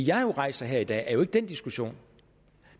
jeg rejser her i dag er jo ikke den diskussion